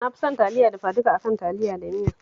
Na fi son Taliya dafaduka a kan Taliya da miya